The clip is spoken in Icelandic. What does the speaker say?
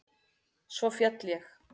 Svo féll ég.